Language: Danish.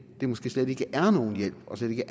er måske slet ikke nogen hjælp og slet ikke